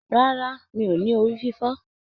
Rárá, mí o ní orí fífọ.